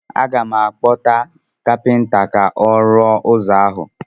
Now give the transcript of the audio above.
Aga m akpọta kapịnta ka ọ rụọ ụzọ ahụ.